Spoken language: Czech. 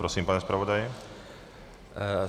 Prosím, pane zpravodaji.